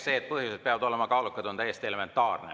See, et põhjused peavad olema kaalukad, on elementaarne.